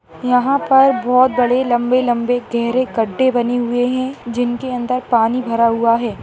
यहां पर बहुत बड़ी लंबे लंबे गहरे गड्ढे बने हुए हैं जिनके अंदर पानी भरा हुआ है।